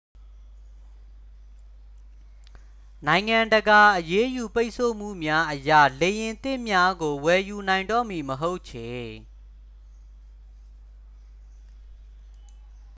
နိုင်ငံတကာ အရေးယူပိတ်ဆို့မှုများအရ လေယာဉ်သစ်များကို ဝယ်ယူနိုင်တော့မည်မဟုတ်ချေ